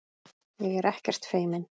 Ég er ekkert feimin.